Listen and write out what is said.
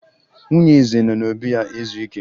Nwunye eze nọ n'obi ya ezu ike